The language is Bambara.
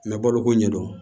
Mɛ baloko ɲɛdɔn